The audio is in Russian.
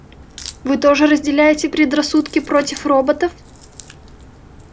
вы тоже разделяете предрассудки против роботов